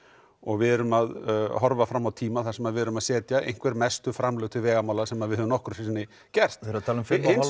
og við erum að horfa fram á tíma þar sem við erum að setja einhver mestu framlög til vegamála sem við höfum nokkru sinni gert það er talað um